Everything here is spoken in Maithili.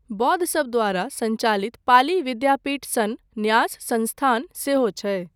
बौद्धसब द्वारा सञ्चालित पाली विद्यापीठ सन न्यास संस्थान सेहो छै।